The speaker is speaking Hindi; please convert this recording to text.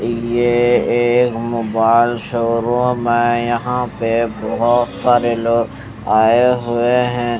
ये एक मोबाइल शोरूम हैं यह पे बोहोत सारे लोग आये हुए हैं।